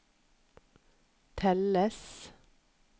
telles